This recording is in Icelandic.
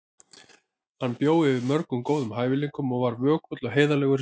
Hann bjó yfir mörgum góðum hæfileikum og var vökull og heiðarlegur í starfi.